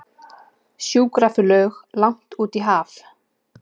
Sjúkraflug langt út í haf